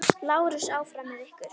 LÁRUS: Áfram með ykkur!